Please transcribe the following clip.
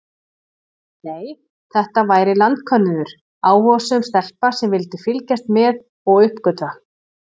Nei, þetta væri landkönnuður, áhugasöm stelpa sem vildi fylgjast með og uppgötva.